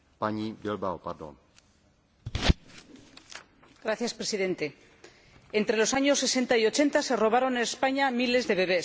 Señor Presidente, entre los años 60 y 80 se robaron en España miles de bebés.